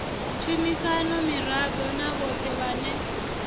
tshumisano miraḓo na vhoṱhe vhane